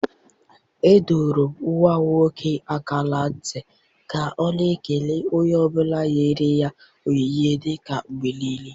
Adọrọ m nwa m nwoke aka na ntị ka ọ na-ekele onye ọ bụla nyere ya onyinye dike mgbe nile.